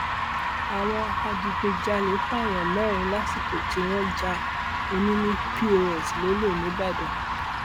àwọn adigunjalè pààyàn mẹrin lásìkò tí wọn já ọnini pọs lọlẹ nìbàdàn